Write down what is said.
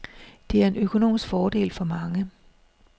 Det er en økonomisk fordel for mange.